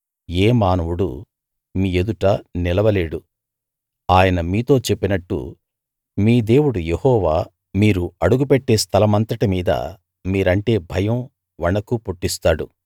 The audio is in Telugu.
ఏ మానవుడూ మీ ఎదుట నిలవలేడు ఆయన మీతో చెప్పినట్టు మీ దేవుడు యెహోవా మీరు అడుగుపెట్టే స్థలమంతటి మీదా మీరంటే భయం వణుకు పుట్టిస్తాడు